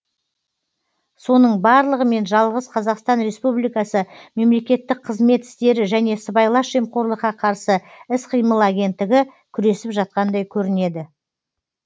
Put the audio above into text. соның барлығымен жалғыз қазақстан республикасы мемлекеттік қызмет істері және сыбайлас жемқорлыққа қарсы іс қимыл агенттігі күресіп жатқандай көрінеді